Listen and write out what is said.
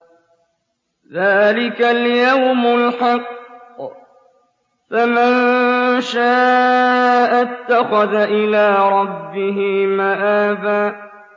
ذَٰلِكَ الْيَوْمُ الْحَقُّ ۖ فَمَن شَاءَ اتَّخَذَ إِلَىٰ رَبِّهِ مَآبًا